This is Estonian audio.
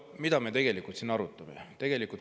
No mida me siin tegelikult arutame?